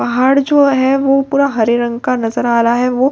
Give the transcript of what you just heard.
पहाड़ जो हैं वो पूरा हरे रंग का नजर आ रहा हैं उसमें बहुत सारे --